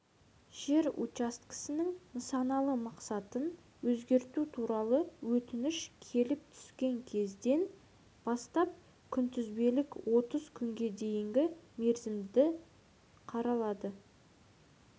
жер учаскесінің нысаналы мақсатын өзгерту туралы өтініш келіп түскен кезден бастап күнтізбелік отыз күнге дейінгі мерзімде қаралады